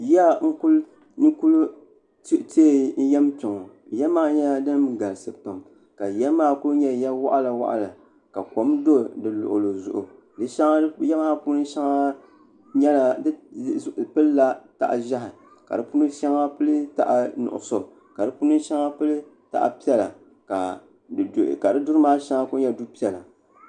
yiya n ku tiɛ yɛm kpɛ ŋɔ yiya maa nyɛla din galisi pam ka yiya maa ku nyɛ ya waɣala waɣala ka kom dɔ di luɣuli zuɣu yiya maa puuni pilila taha ʒiɛhi ka di puuni shɛŋa pili taha nuɣso ka di puuni shɛŋa pili taha piɛla ka di duri maa ku nyɛ du piɛla